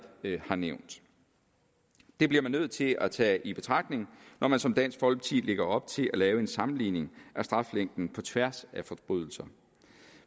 har nævnt det bliver man nødt til at tage i betragtning når man som dansk folkeparti lægger op til at lave en sammenligning af straflængden på tværs af forbrydelser